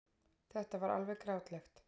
Þetta var alveg grátlegt.